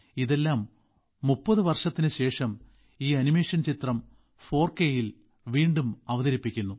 ഇതെല്ലാം 30 വർഷത്തിന് ശേഷം ഈ ആനിമേഷൻ ചിത്രം 4 കെ യിൽ വീണ്ടും അവതരിപ്പിക്കുന്നു